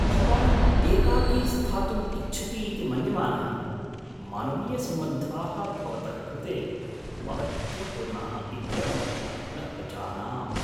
भवान् एकाकी स्थातुम् इच्छति इति मन्यमानः, मानवीयसम्बन्धाः भवतः कृते महत्त्वपूर्णाः इत्यहं न अजानाम्।